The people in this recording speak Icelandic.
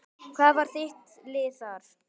Hvað var þitt lið þar?